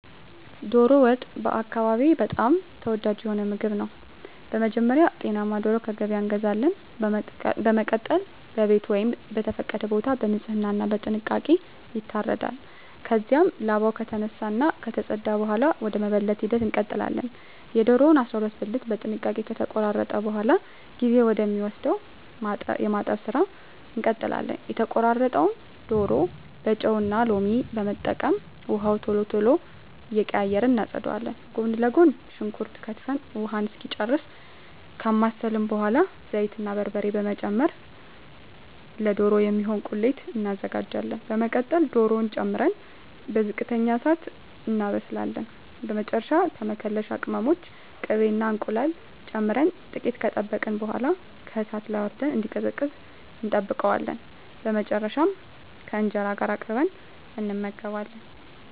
ዶሮ ወጥ በአካባቢየ በጣም ተወዳጅ የሆነ ምግብ ነው። በመጀመሪያ ጤናማ ዶሮ ከገበያ እንገዛለን። በመቀጠል በቤት ወይም በተፈቀደ ቦታ በንጽህና እና በጥንቃቄ ይታረዳል። ከዚያም ላባው ከተነሳ እና ከተፀዳ በኃላ ወደ መበለት ሂደት እንቀጥላለን። የዶሮውን 12 ብልት በጥንቃቄ ከተቆራረጠ በኃላ ጊዜ ወደ ሚወስደው የማጠብ ስራ እንቀጥላለን። የተቆራረጠውን ዶሮ በጨው እና ሎሚ በመጠቀም ውሃውን ቶሎ ቶሎ እየቀያየርን እናፀዳዋለን። ጎን ለጎን ሽንኩርት ከትፈን ውሃውን እስኪጨርስ ካማሰልን በኃላ ዘይት እና በርበሬ በመጨመር ለዶሮ የሚሆን ቁሌት እናዘጋጃለን። በመቀጠል ዶሮውን ጨምረን በዝቅተኛ እሳት እናበስላለን። በመጨረሻ መከለሻ ቅመሞችን፣ ቅቤ እና እንቁላል ጨምረን ጥቂት ከጠበቅን በኃላ ከእሳት ላይ አውርደን እንዲቀዘቅዝ እንጠብቀዋለን። በመጨረሻም ከእንጀራ ጋር አቅርበን እንመገባለን።